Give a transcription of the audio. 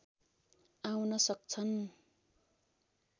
आउन सक्छन्